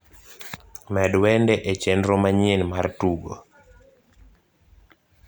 med wende e chenro manyien mar tugo